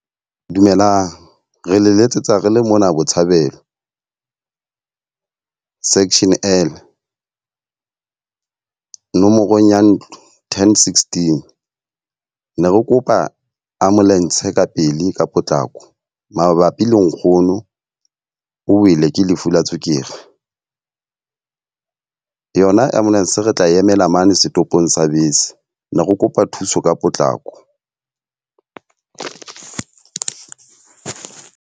Dumelang, re le letsetsa re le mona Botshabelo, section L, nomoro ya ntlo ten sixteen. Ne re kopa ambulance ka pele ka potlako mabapi le nkgono o wele ke lefu la tswekere. Yona ambulance re tla emela mane setopong sa bese, ne re kopa thuso ka potlako.